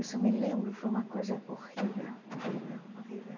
Isso eu me lembro, foi uma coisa horrível, horrível, horrível.